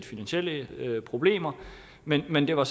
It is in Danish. finansielle problemer men men det var